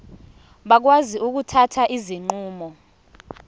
bakwazi ukuthatha izinqumo